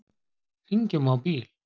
Hringjum á bíl.